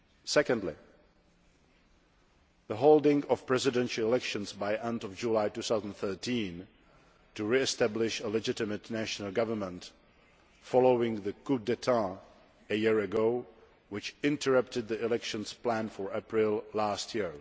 Secondly, the holding of presidential elections by end of July 2013, to re establish a legitimate national government following the coup d'état a year ago, which interrupted the elections planned for April last year.